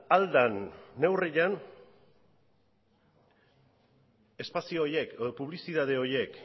ahal den neurrian espazio horiek edo publizitate horiek